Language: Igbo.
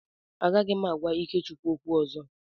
Agaghị m agwa Ikechukwu okwu ọzọ.